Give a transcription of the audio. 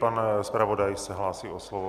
Pan zpravodaj se hlásí o slovo.